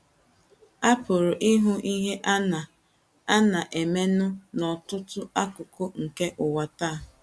A pụrụ ịhụ ihe a na - a na - emenụ n’ọtụtụ akụkụ nke ụwa taa.